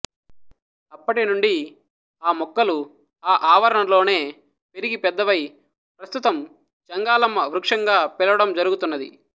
అప్పటి నుండి ఆ మొక్కలు ఆ ఆవరణలోనే పెరిగి పెద్దవై ప్రస్తుతం చెంగాళమ్మ వృక్షంగా పిలవడం జరుగుతున్నది